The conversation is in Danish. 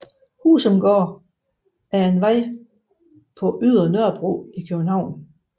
Husumgade er en vej på Ydre Nørrebro i København